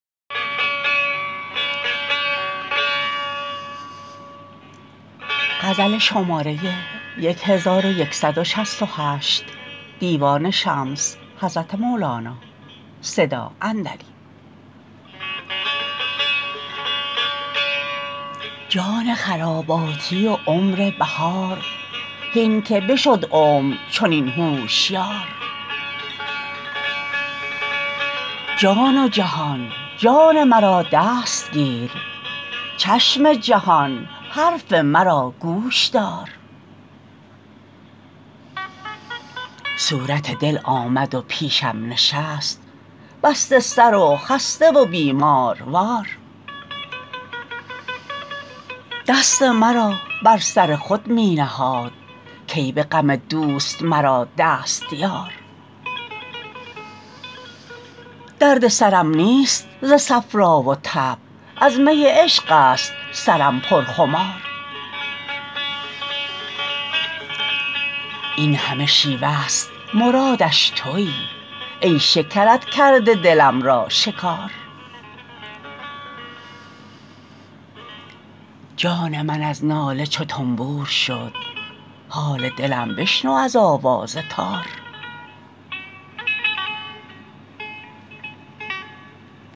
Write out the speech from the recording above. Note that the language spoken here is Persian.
جان خراباتی و عمر بهار هین که بشد عمر چنین هوشیار جان و جهان جان مرا دست گیر چشم جهان حرف مرا گوش دار صورت دل آمد و پیشم نشست بسته سر و خسته و بیماروار دست مرا بر سر خود می نهاد کای به غم دوست مرا دست یار درد سرم نیست ز صفرا و تب از می عشق است سرم پر خمار این همه شیوه ست مرادش توی ای شکرت کرده دلم را شکار جان من از ناله چو تنبور شد حال دلم بشنو از آواز تار